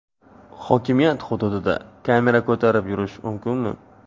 Hokimiyat hududida kamera ko‘tarib yurish mumkinmi?